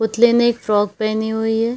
पुतले ने एक फ्रॉक पहने हुई है।